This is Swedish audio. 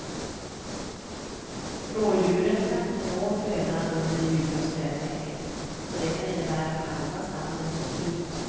Rådjuren kan inte nå födan under det djupa snötäcket och det kan innebära att halva stammen slås ut.